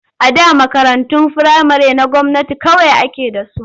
A da makarantun firamare na gwamnati kawai ake da su.